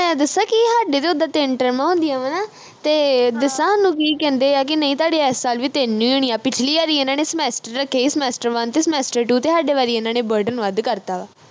ਹਾਡੇ ਤੇ ਉੱਦਾਂ ਤਿੰਨ ਟਰਮਾਂ ਹੁੰਦੀਆਂ ਵਾ ਨਾ ਤੇ ਦੱਸਾ ਹਾਨੂੰ ਕੀ ਕਹਿੰਦੇ ਆ ਕਿ ਨਹੀਂ ਤੁਹਾਡੇ ਇਸ ਸਾਲ ਵੀ ਤਿੰਨ ਈ ਹੋਣੀਆਂ ਪਿਛਲੀ ਵਾਰੀ ਇਨ੍ਹਾਂ ਨੇ semester ਰੱਖੇ ਈ semester one ਤੇ semester two ਤੇ ਹਾਡੇ ਵਾਰੀ ਇਨ੍ਹਾਂ ਨੇ burden ਵੱਧ ਕਰਤਾ ਵਾ